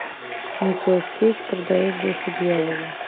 николас кейдж продает душу дьяволу